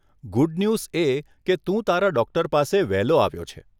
Good news એ કે તું તારા ડૉક્ટર પાસે વહેલો આવ્યો છે.